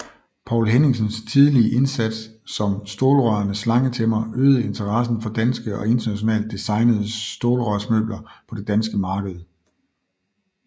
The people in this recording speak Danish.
Poul Henningsens tidlige indsats som stålrørenes slangetæmmer øgede interessen for danske og internationalt designede stålrørsmøbler på det danske marked